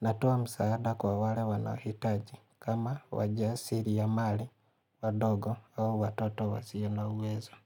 Natoa msaada kwa wale wanaohitaji kama wajiasiri ya mali, wadogo au watoto wasio na uwezo.